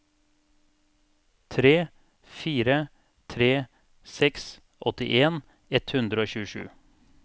tre fire tre seks åttien ett hundre og tjuesju